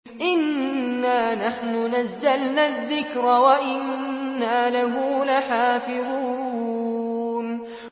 إِنَّا نَحْنُ نَزَّلْنَا الذِّكْرَ وَإِنَّا لَهُ لَحَافِظُونَ